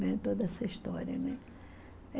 Né? Toda essa história, né?